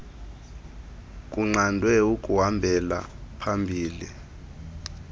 kunqandwe ukuhambela phambili